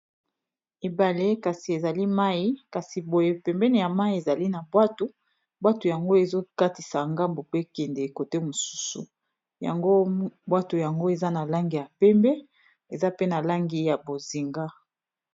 ebale kasi ezali mai kasi boye pembene ya mai ezali na bwato bwato yango ezokatisa ngambo pe kende kote mosusu yango bwato yango eza na langi ya pembe eza pe na langi ya bozinga